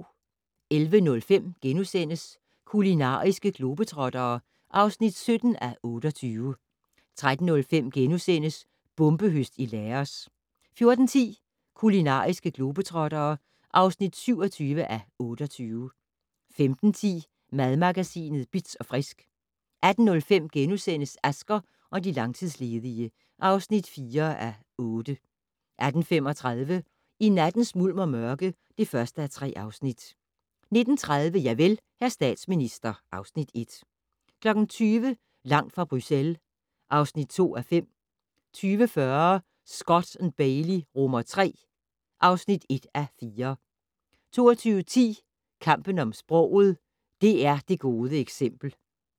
11:05: Kulinariske globetrottere (17:28)* 13:05: Bombehøst i Laos * 14:10: Kulinariske globetrottere (27:28) 15:10: Madmagasinet Bitz & Frisk 18:05: Asger og de langtidsledige (4:8)* 18:35: I nattens mulm og mørke (1:3) 19:30: Javel, hr. statsminister (Afs. 1) 20:00: Langt fra Bruxelles (2:5) 20:40: Scott & Bailey III (1:4) 22:10: Kampen om sproget - DR det gode eksempel